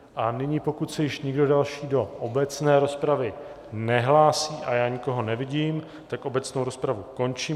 A nyní, pokud se již nikdo další do obecné rozpravy nehlásí - a já nikoho nevidím - tak obecnou rozpravu končím.